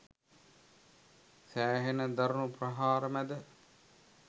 සෑහෙන්න දරුණු ප්‍රහාර මැද